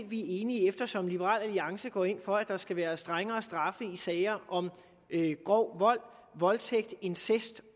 vi er enige eftersom liberal alliance går ind for at der skal være strengere straffe i sager om grov vold voldtægt incest